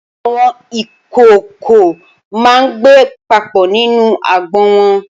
Awọn ikookó mà n gbé papọ ninú àgbó wọn